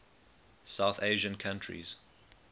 south asian countries